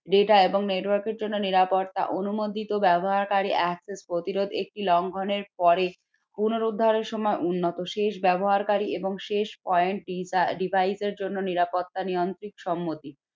data এবং network র জন্য নিরাপত্তা অনুমোদিত ব্যবহারকারী access প্রতিরোধ একটি লঙ্ঘন এর পরে পুনরুদ্ধারের সময় উন্নত শেষ ব্যবহারকারী এবং শেষ point device এর জন্য নিরাপত্তা নিয়ন্ত্রিত সম্মতি